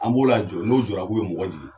An b'o lajɔ n'o jɔra k'u bɛ mɔgɔ jigin